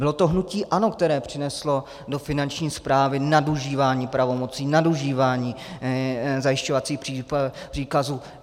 Bylo to hnutí ANO, které přineslo do Finanční správy nadužívání pravomocí, nadužívání zajišťovacích příkazů.